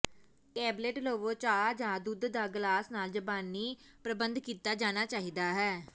tablet ਲਵੋ ਚਾਹ ਜ ਦੁੱਧ ਦਾ ਗਲਾਸ ਨਾਲ ਜ਼ਬਾਨੀ ਪ੍ਰਬੰਧ ਕੀਤਾ ਜਾਣਾ ਚਾਹੀਦਾ ਹੈ